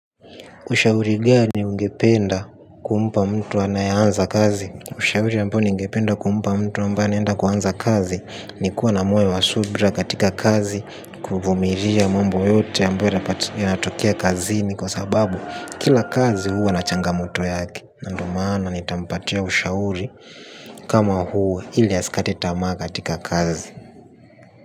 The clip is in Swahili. Ushauri gani ungependa kumpa mtu anayeaanza kazi. Ushauri ambao ningependa kumpa mtu ambaye anaenda kuanza kazi. Nikuwa na moyo wa subra katika kazi. Kuvumiria mambo yote ambayo yanatokea kazini kwa sababu kila kazi huwa na changamoto yake na ndo maana nitampatia ushauri kama huu ili asikate tamaa katika kazi.